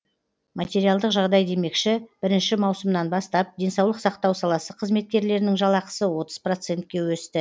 материалдық жағдай демекші бірінші маусымнан бастап денсаулық сақтау саласы қызметкерлерінің жалақысы отыз процентке өсті